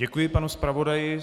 Děkuji, panu zpravodaji.